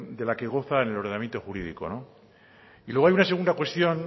de la que goza en el ordenamiento jurídico y luego hay una segunda cuestión